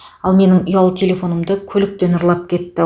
ал менің ұялы телефонымды көліктен ұрлап кетті